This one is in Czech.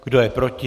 Kdo je proti?